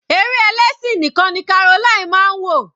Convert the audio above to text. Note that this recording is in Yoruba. Eré ẹlẹ́sìn nìkan ni Caroline máa ń wò.